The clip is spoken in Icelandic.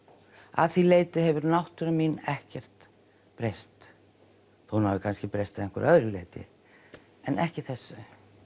að því leyti hefur náttúra mín ekkert breyst þó hún hafi kannski breyst að einhverju öðru leyti en ekki þessu